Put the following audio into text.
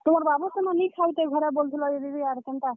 ତୁମର୍ ବାବୁ ସେନ ନି ଖାଉଥାଇ ଘରେ ବଲୁଥିଲ ଯେ ଦିଦି ଆର୍ କେନ୍ତା?